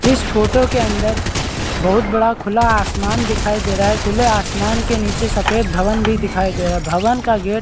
इस फोटो के अंदर बहुत बड़ा खुला आसमान दिखाई दे रहा है खुले आसमान के नीचे सफ़ेद भवन भी दिखाई दे रहा है भवन का गेट --